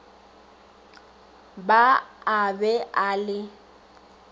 ba a be a le